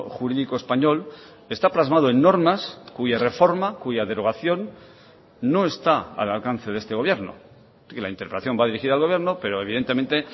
jurídico español está plasmado en normas cuya reforma cuya derogación no está al alcance de este gobierno que la interpelación va dirigida al gobierno pero evidentemente